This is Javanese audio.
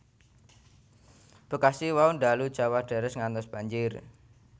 Bekasi wau ndalu jawah deres ngantos banjir